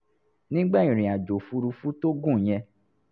nígbà ìrìn àjò òfuurufú tó gùn yẹn